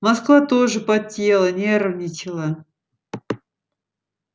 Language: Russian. москва тоже потела нервничала